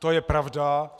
To je pravda.